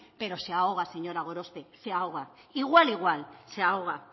pero se ahoga señora gorospe se ahoga igual igual se ahoga